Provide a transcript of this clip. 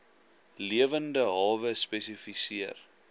lewende hawe spesifiseer